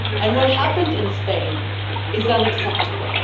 What happened in Spain is unacceptable.